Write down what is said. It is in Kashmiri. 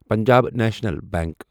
پنجاب نیشنل بینک